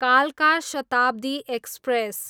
कालका शताब्दी एक्सप्रेस